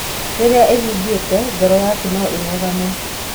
Rĩrĩa ĩhingĩkĩte, ngoro yaku no ĩrũgame.